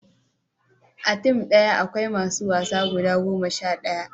a tim daya akwai masu wasa guda goma sha ɗaya